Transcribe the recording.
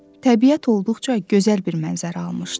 Təbiət olduqca gözəl bir mənzərə almışdı.